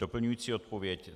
Doplňující odpověď.